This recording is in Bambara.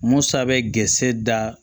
Musa bɛ gerɛse da